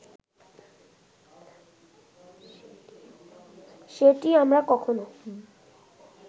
সেটি আমরা কখনো